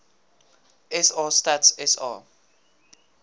sa stats sa